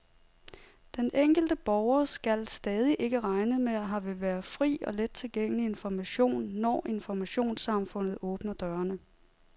Den enkelte borger skal stadig ikke regne med, at her vil være fri og let tilgængelig information, når informationssamfundet åbner dørene.